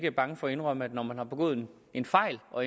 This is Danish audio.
er bange for at indrømme når man har begået en fejl og